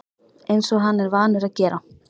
Eins og hann er vanur að gera.